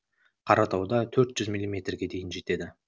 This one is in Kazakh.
қаратауда төрт жүз миллиметрге жетеді